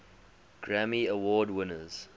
grammy award winners